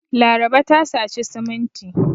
Laraba ta saci siminti.